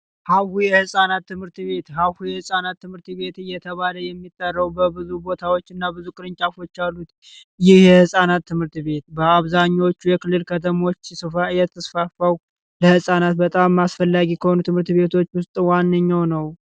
ሀሁ የፃናት ትምህርት ቤት የህጻናት ትምህርት ቤት እየተባለ የሚለው በብዙ ቦታዎች እና ብዙ ቅርንጫፎች አሉ የህፃናት ትምህርት ቤት በአብዛኞቹ ከተሞች ለህፃናት በጣም አስፈላጊ ከሆኑ ትምህርት ቤቶች ዋነኛ ነው